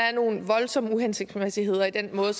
er nogle voldsomme uhensigtsmæssigheder i den måde